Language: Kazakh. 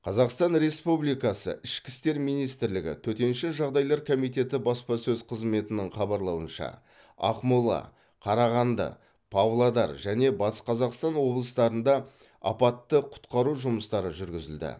қазақстан республикасы ішкі істер министрлігі төтенше жағдайлар комитеті баспасөз қызметінің хабарлауынша ақмола қарағанды павлодар және батыс қазақстан облыстарында апатты құтқару жұмыстары жүргізілді